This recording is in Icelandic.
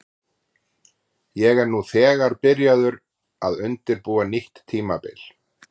Ég er nú þegar byrjaður að undirbúa nýtt tímabil.